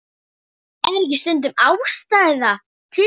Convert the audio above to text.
Er ekki stundum ástæða til?